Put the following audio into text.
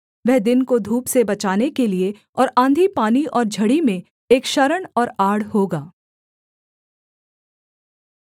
वह दिन को धूप से बचाने के लिये और आँधीपानी और झड़ी में एक शरण और आड़ होगा